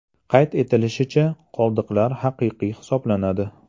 Qayd etilishicha, qoldiqlar haqiqiy hisoblanadi.